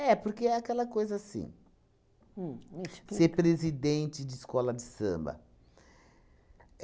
É, porque é aquela coisa assim, uhm, me explica, ser presidente de escola de samba.